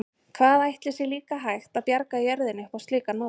Hvað ætli sé líka hægt að bjarga jörðinni upp á slíkan máta?